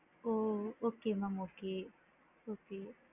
O! okay mam okay okay